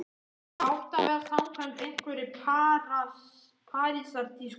Það átti að vera samkvæmt einhverri Parísartísku.